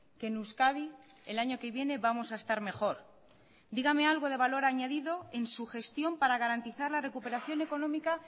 que en euskadi el año que viene vamos a estar mejor dígame algo de valor añadido en su gestión para garantizar la recuperación económica